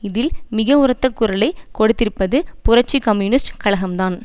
இதில் மிக உரத்த குரலை கொடுத்திருப்பது புரட்சி கம்யூனிஸ்ட் கழகம்தான்